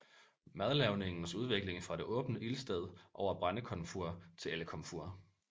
Madlavningens udvikling fra det åbne ildsted over brændekomfur til elkomfur